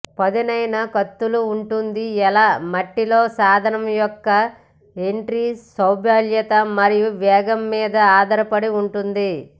పదునైన కత్తులు ఉంటుంది ఎలా మట్టి లోకి సాధనం యొక్క ఎంట్రీ సౌలభ్యత మరియు వేగం మీద ఆధారపడి ఉంటుంది